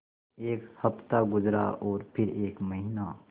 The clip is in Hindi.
एक हफ़्ता गुज़रा और फिर एक महीना